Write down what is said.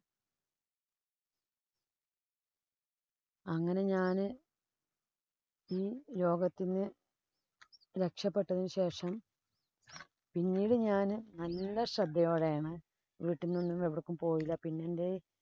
അങ്ങനെ ഞാന് ഈ രോഗത്തീന്നു രക്ഷപ്പെട്ടതിനു ശേഷം പിന്നീട് ഞാന് നല്ല ശ്രദ്ധയോടെയാണ് വീട്ടിന്നു ഒന്നും എവിടേക്കും പോയില്ല. പിന്നെന്‍റെ